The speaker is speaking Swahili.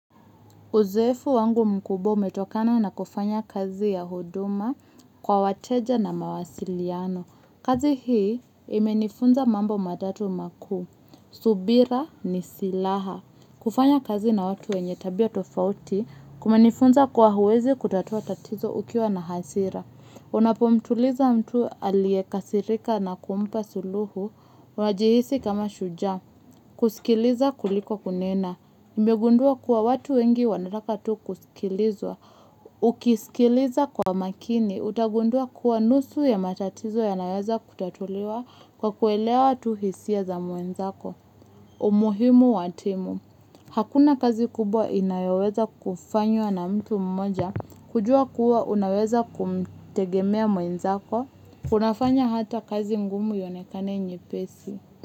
Uzoefu wangu mkubwa umetokana na kufanya kazi ya huduma kwa wateja na mawasiliano. Kazi hii imenifunza mambo matatu makuu. Subira ni silaha. Kufanya kazi na watu wenye tabia tofauti kumenifunza kuwa huwezi kutatua tatizo ukiwa na hasira. Unapomtuliza mtu aliyekasirika na kumpa suluhu wajihisi kama shujaa. Kusikiliza kuliko kunena. Mimegundua kuwa watu wengi wanataka tu kusikilizwa. Ukisikiliza kwa makini utagundua kuwa nusu ya matatizo yanaweza kutatuliwa kwa kuelewa tu hisia za mwenzako. Umuhimu watimu, hakuna kazi kubwa inayoweza kufanywa na mtu mmoja, kujua kuwa unaweza kumtegemea mwenzako kunafanya hata kazi ngumu ionekane nyepesi.